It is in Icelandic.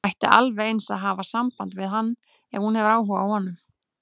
Hún ætti alveg eins að hafa samband við hann ef hún hefur áhuga á honum.